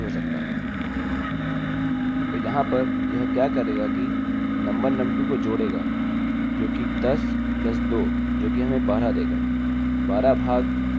तो यहाँ पर यह क्या करेगा कि num1 num2 को जोड़ेगा जो कि 10 धन 2 जो कि हमें 12 देगा 12 भाग 2 जो कि हमें 6 देगा